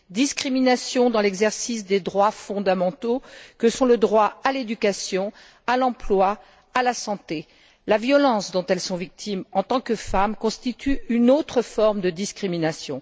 Discrimination dans l'exercice des droits fondamentaux que sont le droit à l'éducation, à l'emploi, à la santé. La violence dont elles sont victimes en tant que femmes constitue une autre forme de discrimination.